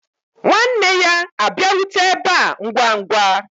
Nwanne ya abịarute ebe a ngwa ngwa.